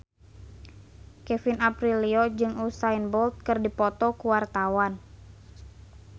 Kevin Aprilio jeung Usain Bolt keur dipoto ku wartawan